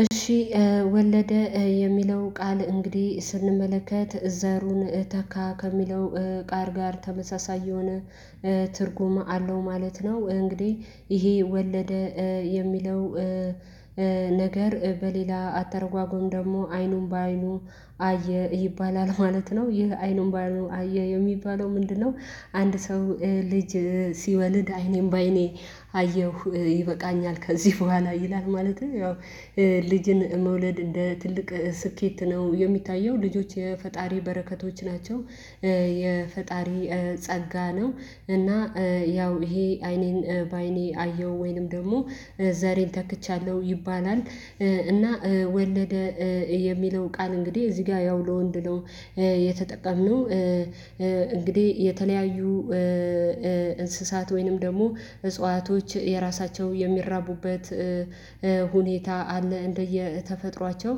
እሺ ወለደ የሚለው ቃል እንግዲህ ስንመለከት ዘሩን ተካ ከሚለው ቃል ጋር ተመሳሳይ የሆነ ትርጉም አለው ማለት ነው። እንግዲህ ይሄ ወለደ የሚለው ነገር በሌላ አተረጓጎም ደግሞ አይኑን በአይኑ አየ ይባላል ማለት ነው። ይህ አይኑን በአይኑ አየ የሚባለው ምንድነው? አንድ ሰው ልጅ ሲወልድ አይኔን በአይኔ አየሁ ይበቃኛል ከዚህ በኋላ ይላል ማለትም ያው ልጅን መውለድ እንደ ትልቅ ስኬት ነው የሚታየው ልጆች የፈጣሪ በረከቶች ናቸው። የፈጣሪ ጸጋ ነው እና ያው ይሄ አይኔን በአይኔ አየሁ ወይንም ደግሞ ዘሬን ተክቻለሁ ይባላል። እና ወለደ የሚለው ቃል እንግዲህ እዚህ ጋ ያው ለወንድ ነው የተጠቀምነው እንግዲህ የተለያዩ እንስሳት ወይንም ደግሞ እጽዋቶች የራሳቸው የሚራቡበት ሁኔታ አለ። እንደየ ተፈጥሯቸው